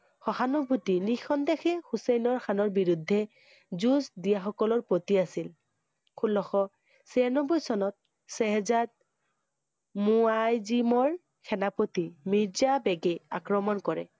সহানুভূতি নিসন্দেহে হুছেইনৰ খানৰ বিৰুদ্ধে যুঁজ দিয়া সকলৰ প্ৰতি আছিল। ষোল্লশ ছিয়ানব্বৈ চনত শ্বাহজাদ মু~ৱা~ইজিমৰ সেনাপতি মিৰ্জা বেগে আক্ৰমণ কৰে।